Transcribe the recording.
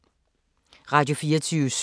Radio24syv